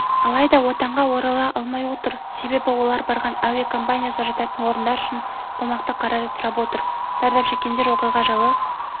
алайда отанға орала алмай отыр себебі олар барған әуе компаниясы жататын орындар үшін қомақты қаражат сұрап отыр зардап шеккендер оқиға жайлы